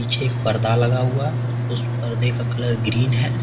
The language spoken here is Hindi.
पीछे एक पर्दा लगा हुआ उस पर्दे का कलर ग्रीन है।